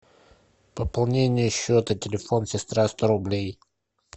пополнение счета телефон сестра сто рублей